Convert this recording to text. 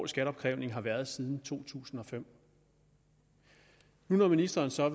skatteopkrævning har været der siden to tusind og fem nu når ministeren så